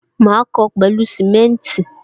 Ma kó o pẹlu simenti